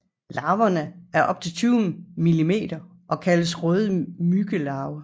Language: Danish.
Larverne er op til 20 millimeter og kaldes røde myggelarver